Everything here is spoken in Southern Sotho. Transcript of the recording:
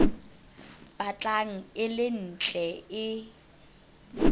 batlang e le ntle e